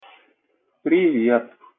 привет